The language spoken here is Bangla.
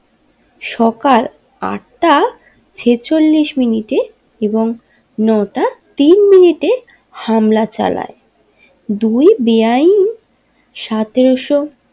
সকাল আট টা ছেচল্লিশ মিনিটে এবং নোটা তিন মিনিটে হামলা চালায় দুই বেআইনি সাতেরোশো।